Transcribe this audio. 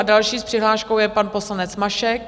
A další s přihláškou je pan poslanec Mašek.